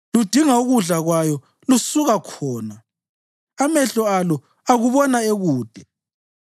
Ludinga ukudla kwayo lusuka khona; amehlo alo akubona ekude.